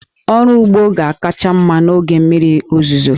Ọrụ ugbo ga-akacha mma n'oge mmiri ozuzo.